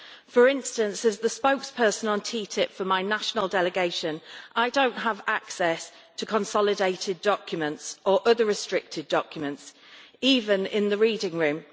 For instance, as the spokesperson on TTIP for my national delegation, I do not have access to consolidated documents or other restricted documents, even in the reading room.